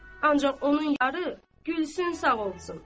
Ancaq onun yarı Gülsüm sağ olsun.